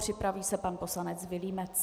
Připraví se pan poslanec Vilímec.